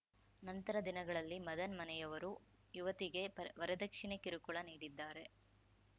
ನಂತರ ದಿನಗಳಲ್ಲಿ ಮದನ್‌ ಮನೆಯವರು ಯುವತಿಗೆ ವರದಕ್ಷಿಣೆ ಕಿರುಕುಳ ನೀಡಿದ್ದಾರೆ